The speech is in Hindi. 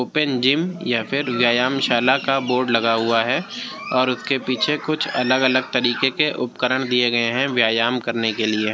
ओपेन जिम या फिर व्ययामशाला का बोर्ड लगा हुआ है और उसके पीछे कुछ अलग-अलग तरीके के उपकरण दिए गए हैं व्यायाम करने के लिए।